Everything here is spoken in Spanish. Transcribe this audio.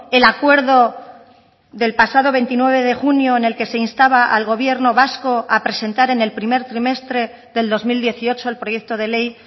el acuerdo del pasado veintinueve de junio en el que se instaba al gobierno vasco a presentar en el primer trimestre del dos mil dieciocho el proyecto de ley